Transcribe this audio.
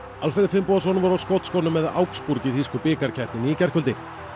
Alfreð Finnbogason var á skotskónum með augsburg í þýsku bikarkeppninni í gærkvöldi